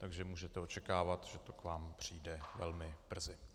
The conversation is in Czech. Takže můžete očekávat, že to k vám přijde velmi brzy.